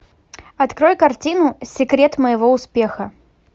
открой картину секрет моего успеха